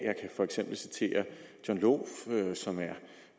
for eksempel citere john lohff som er